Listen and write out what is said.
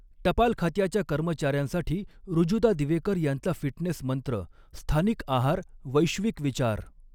टपाल खात्याच्या कर्मचाऱ्यांसाठी ऋजुता दिवेकर यांचा फिटनेस मंत्र स्थानिक आहार, वैश्विक विचार